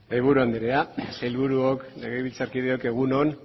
mahaiburu andrea sailburuok legebiltzarkideok egun on